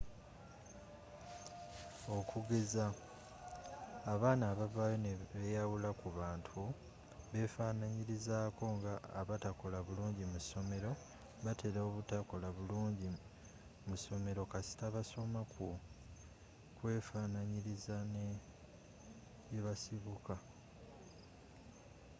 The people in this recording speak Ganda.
okugeza abaana abavaayo ne beyawula ku bantu beefananyirizaako nga abatakola bulungi mu ssomero batera obutakola bulungi mu ssomero kasita basoma ku kwefaananyiriza ne gyebasibuka